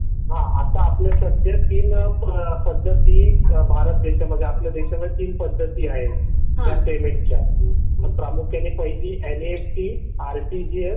हा आता आपल्या सध्या तीन पद्धती आपल्या भारत देशामध्ये आहेत. आपल्या देशामध्ये तीन पद्धती आहे. या पेमेंटच्या प्रामुख्याने पहिली एनईएफटी आरटीजीएस